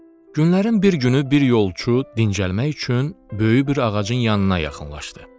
Günlərin bir günü bir yolçu dincəlmək üçün böyük bir ağacın yanına yaxınlaşdı.